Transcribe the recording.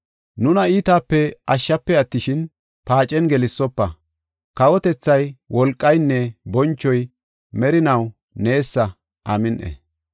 Nuna iitape ashshafe attishin, paacen gelsofa. [Kawotethay, wolqaynne bonchoy merinaw neesa; Amin7i.’]